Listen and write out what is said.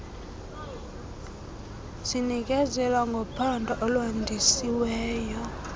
zinikezela ngophando olwandisiweyo